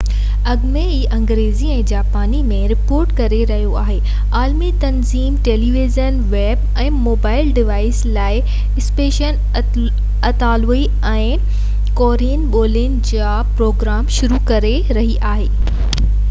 اڳ ۾ ئي انگريزي ۽ جاپاني ۾ رپورٽ ڪري رهيو آهي عالمي تنظيم ٽيليويزن ويب ۽ موبائل ڊوائيس لاءِ اسپينش اطالوي ۽ ڪورين ٻولين جا پروگرام شروع ڪري رهي آهي